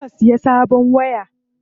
Kar ka siya sabon waya.